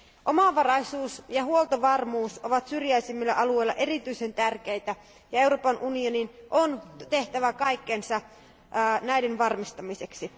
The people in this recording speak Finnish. Omavaraisuus ja huoltovarmuus ovat syrjäisimmillä alueilla erityisen tärkeitä, ja Euroopan unionin on tehtävä kaikkensa niiden varmistamiseksi.